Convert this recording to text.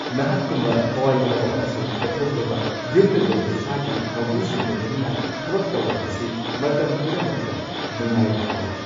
ꯅꯍꯥꯛꯀꯨꯝꯕ ꯊꯋꯥꯏ ꯌꯥꯎꯕ ꯑꯃꯁꯨꯡ ꯀꯠꯊꯣꯛꯂꯕ ꯌꯨꯝꯗ ꯂꯣꯏꯕ ꯁꯥꯒꯤ ꯃꯄꯨꯁꯤꯡꯒ ꯂꯣꯏꯅꯅ ꯊꯕꯛ ꯇꯧꯕ ꯑꯁꯤ ꯃꯇꯝ ꯄꯨꯝꯅꯃꯛꯇ ꯅꯨꯡꯉꯥꯏꯕ ꯐꯥꯎꯏ꯫